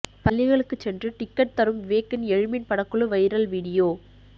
பள்ளிகளுக்கு சென்று டிக்கெட் தரும் விவேக்கின் எழுமின் படக்குழு வைரல் வீடியோ